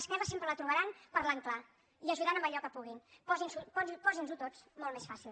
esquerra sempre la trobaran parlant clar i ajudant en allò que pugui posin nos ho tots molt més fàcil